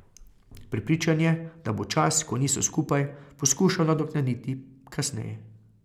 Prepričan je, da bo čas, ko niso skupaj, poskušal nadoknaditi kasneje.